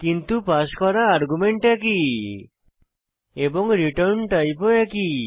কিন্তু পাস করা আর্গুমেন্ট একই এবং রিটার্ন টাইপ ও একই